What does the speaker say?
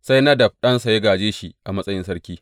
Sai Nadab ɗansa ya gāje shi a matsayin sarki.